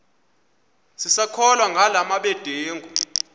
sisakholwa ngala mabedengu